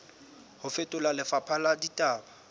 ho fetola lefapha la ditaba